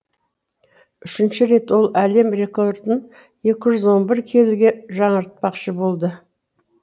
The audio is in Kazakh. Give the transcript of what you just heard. үшінші рет ол әлем рекордын екі жүз он бір келіге жаңартпақшы болды